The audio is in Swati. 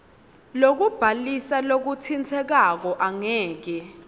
lokubhalisa lokutsintsekako angeke